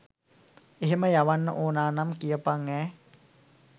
එහෙම යවන්න ඕන නම් කියපන් ඈ.